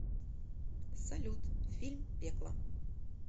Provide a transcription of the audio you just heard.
салют фильм пекло